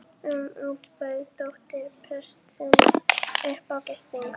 um út bauð dóttir prestsins upp á gistingu.